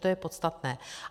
To je podstatné.